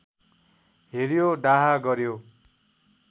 हेर्‍यो डाहा गर्‍यो